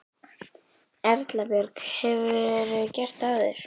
Erla Björg: Hefurðu gert það áður?